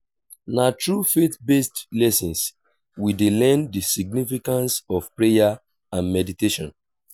na through faith-based lessons we dey learn the significance of prayer and meditation